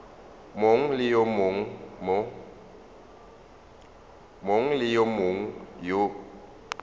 mongwe le yo mongwe yo